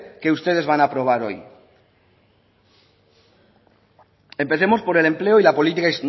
que ustedes van a aprobar hoy empecemos por el empleo y la política